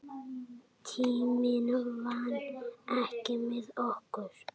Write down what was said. Tíminn vann ekki með okkur.